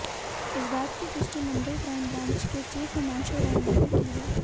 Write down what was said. इस बात की पुष्टि मुंबई क्राइम ब्रांच के चीफ हिमांशु राय ने भी की है